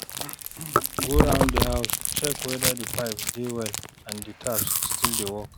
Go round di house check weda di pipes dey well and di taps still dey work